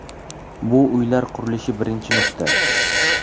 Bu uylar qurilishi birinchi nuqta.